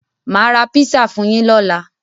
Máa ra písà fún yín lóla.